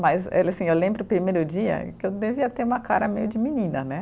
Mas eu lembro o primeiro dia que eu devia ter uma cara meio de menina, né?